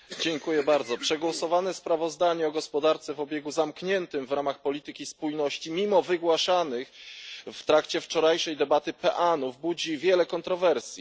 Panie Przewodniczący! Przegłosowane sprawozdanie o gospodarce o obiegu zamkniętym w ramach polityki spójności, mimo wygłaszanych w trakcie wczorajszej debaty peanów, budzi wiele kontrowersji.